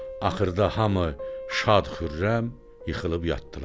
Axırda hamı şad-xürrəm yıxılıb yatdılar.